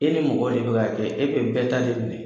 E ni mɔgɔ de bɛ k'a kɛ, e bɛɛ ta de minɛ .